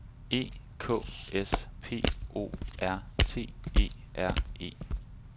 E K S P O R T E R E